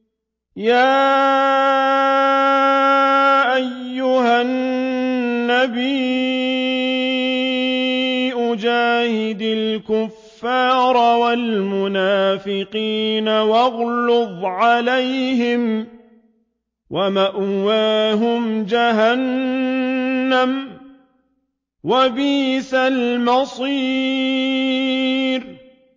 يَا أَيُّهَا النَّبِيُّ جَاهِدِ الْكُفَّارَ وَالْمُنَافِقِينَ وَاغْلُظْ عَلَيْهِمْ ۚ وَمَأْوَاهُمْ جَهَنَّمُ ۖ وَبِئْسَ الْمَصِيرُ